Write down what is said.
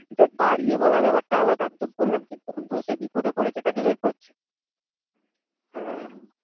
দেখ বাড়িয়ে বলা ব্যাপার টা আলাদা। আমি তো বললাম কি বন্ধু সে বিপদে পড়েছে তাকে হেল্প করছি